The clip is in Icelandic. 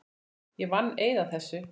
Ég vann eið að þessu.